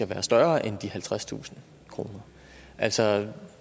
være større end halvtredstusind kr altså